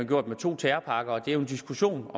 gjort med to terrorpakker det er en diskussion